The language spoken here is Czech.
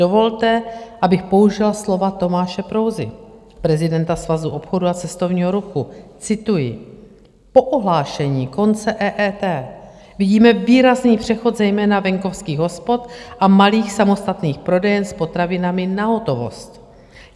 Dovolte, abych použila slova Tomáše Prouzy, prezidenta Svazu obchodu a cestovního ruchu, cituji: "Po ohlášení konce EET vidíme výrazný přechod zejména venkovských hospod a malých samostatných prodejen s potravinami na hotovost.